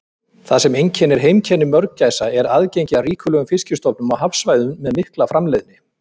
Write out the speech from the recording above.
Það sem einkennir heimkynni mörgæsa er aðgengi að ríkulegum fiskistofnum á hafsvæðum með mikla framleiðni.